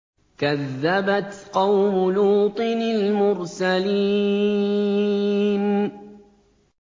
كَذَّبَتْ قَوْمُ لُوطٍ الْمُرْسَلِينَ